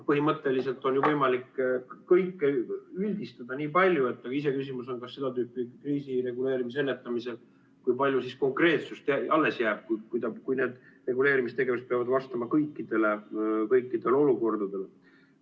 Põhimõtteliselt on ju võimalik kõike nii palju üldistada, aga iseküsimus on, kui palju seda tüüpi kriisireguleerimisel ja ennetamisel siis konkreetsust alles jääb, kui need reguleerimistegevused peavad vastama kõikidele olukordadele.